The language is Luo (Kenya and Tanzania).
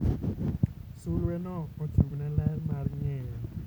Sulweno ochung'ne ler mar ng'eyo.